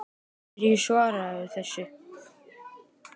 Hverju svararðu þessu?